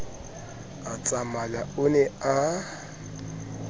a tsamaya o ne a